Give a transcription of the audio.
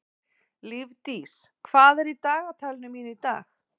Lífdís, hvað er í dagatalinu mínu í dag?